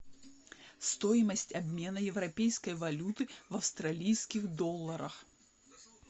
стоимость обмена европейской валюты в австралийских долларах